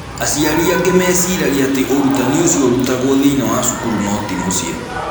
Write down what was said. Aciari angĩ meciragia atĩ ũrutani ũcio ũrutagwo thĩinĩ wa cukuru no ti mũciĩ.